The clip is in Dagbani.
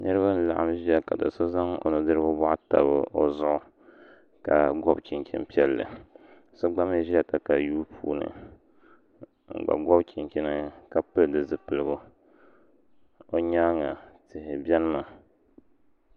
Niraba n laɣam ʒiya ka do so zaŋ o nudirigu boɣu tabi o zuɣu ka gobi chinchin piɛlli so gba mii ʒila katayuu puuni n gba gobi chinchin ka pili di zipiligu bi nyaanga tihi biɛni mi